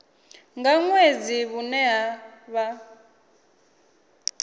nga ṅwedzi vhune ha vha